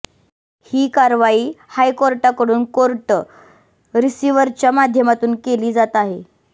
ही कारवाई हायकोर्टाकडून कोर्ट रिसिव्हरच्या माध्यमातून केली जात आहे